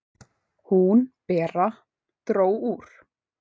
"""Hún, Bera, dró úr."""